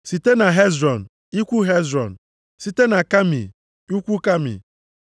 site na Hezrọn, ikwu Hezrọn site na Kami, ikwu Kami